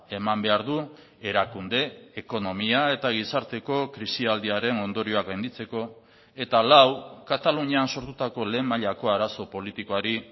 eman behar du erakunde ekonomia eta gizarteko krisialdiaren ondorioak gainditzeko eta lau katalunian sortutako lehen mailako arazo politikoari